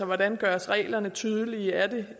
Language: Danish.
hvordan gøres reglerne tydelige er det